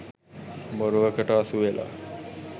බොරුවකට අසුවෙලා